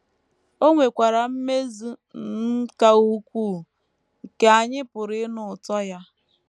O nwekwara mmezu um ka ukwuu nke anyị pụrụ ịnụ ụtọ ya.